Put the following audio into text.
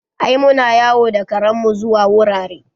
Ai muna yawo da karen mu zuwa wurare